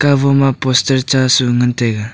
habo ma poster cha su ngan taiga.